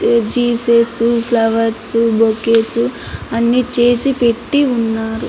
Jesus flowers bouquet అన్ని చేసి పెట్టి ఉన్నారు.